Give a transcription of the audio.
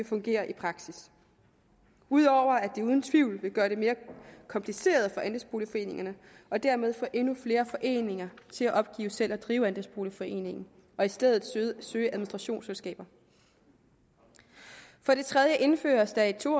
fungere i praksis udover at det uden tvivl vil gøre det mere kompliceret for andelsboligforeningerne og dermed få endnu flere foreninger til at opgive selv at drive andelsboligforeningen og i stedet søge administrationsselskaber for det tredje indføres der et to